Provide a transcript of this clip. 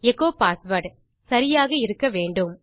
echo password சரியாக இருக்க வேண்டும்